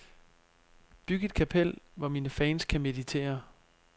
Byg et kapel, hvor mine fans kan meditere.